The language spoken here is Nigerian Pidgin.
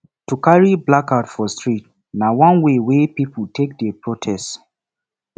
to carry placard for street na one way wey pipo take dey protest